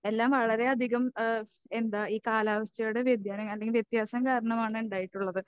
എല്ലാം വളരെയധികം ഏഹ് എന്താ ഈ കാലാവസ്ഥയുടെ വ്യതിയാനം അല്ലെങ്കിൽ വ്യത്യാസം കാരണമാണ് ഉണ്ടായിട്ടുള്ളത്.